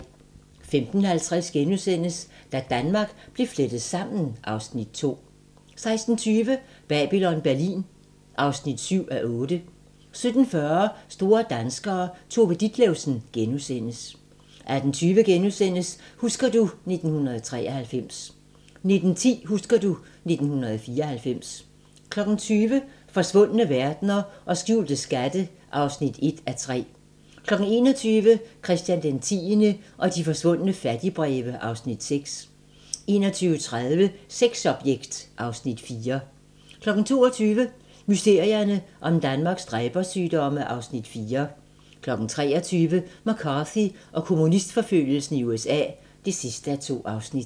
15:50: Da Danmark blev flettet sammen (Afs. 2)* 16:20: Babylon Berlin (7:8) 17:40: Store danskere - Tove Ditlevsen * 18:20: Husker du ... 1993 * 19:10: Husker du ... 1994 20:00: Forsvundne verdener og skjulte skatte (1:3) 21:00: Christian X og de forsvundne fattigbreve (Afs. 6) 21:30: Sexobjekt (Afs. 4) 22:00: Mysterierne om Danmarks dræbersygdomme (Afs. 4) 23:00: McCarthy og kommunistforfølgelsen i USA (2:2)